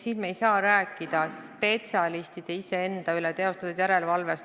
Aga me ei saa rääkida spetsialistide teostatud järelevalvest.